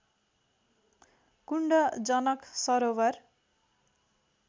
कुण्ड Janak सरोवर